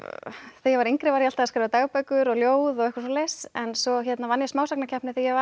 ég var yngri var ég alltaf að skrifa dagbækur og ljóð og eitthvað svoleiðis en svo vann ég smásagnakeppni þegar ég var